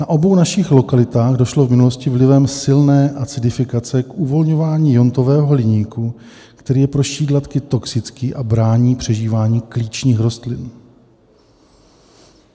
Na obou našich lokalitách došlo v minulosti vlivem silné acidifikace k uvolňování iontového hliníku, který je pro šídlatky toxický a brání přežívání klíčních rostlin.